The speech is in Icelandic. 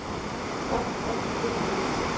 Jafngott fyrir því.